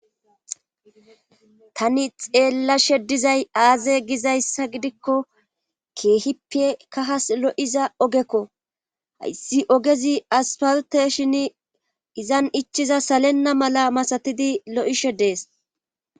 Tani xeella she dizay aaze gizayssa gidikko keehippe kahas lo'iza ogekko hayssi ogezi asparoteshin izan ichiza salenna mala masatidi lo'ishe dees